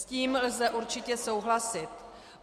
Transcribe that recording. S tím lze určitě souhlasit.